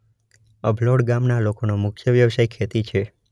અભલોડ ગામના લોકોનો મુખ્ય વ્યવસાય ખેતી છે.